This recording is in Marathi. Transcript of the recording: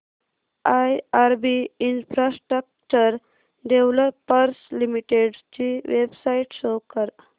आयआरबी इन्फ्रास्ट्रक्चर डेव्हलपर्स लिमिटेड ची वेबसाइट शो करा